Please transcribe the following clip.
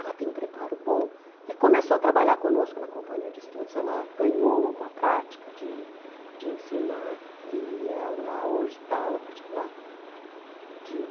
ela tem um preparo bom e começou a trabalhar conosco na companhia de estudos, ela ganhou uma prática de de ensinar e ela hoje dá aula particular de